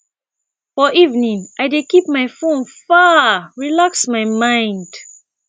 for evening i dey keep my fone far relax my mind